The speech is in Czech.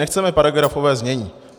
Nechceme paragrafové znění.